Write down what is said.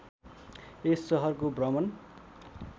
यस सहरको भ्रमण